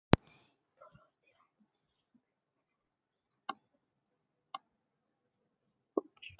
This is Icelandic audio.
Fyrstu kynni af silungi